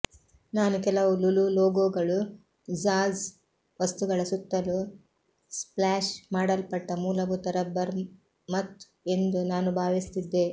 ನಾನು ಕೆಲವು ಲುಲು ಲೋಗೊಗಳು ಜಾಝ್ ವಸ್ತುಗಳ ಸುತ್ತಲೂ ಸ್ಪ್ಲಾಶ್ ಮಾಡಲ್ಪಟ್ಟ ಮೂಲಭೂತ ರಬ್ಬರ್ ಮತ್ ಎಂದು ನಾನು ಭಾವಿಸುತ್ತಿದ್ದೆ